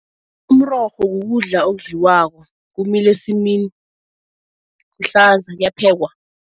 Umrorho kukudla okudliwako kumila esimini, ihlaza kuyaphekwa.